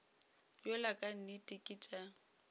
yola ka nnete ke tša